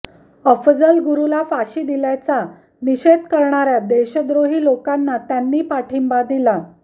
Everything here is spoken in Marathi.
अफझल गुरूला फाशी दिल्याचा निषेध करणार्या देशद्रोही लोकांना त्यांनी पाठींबा दिला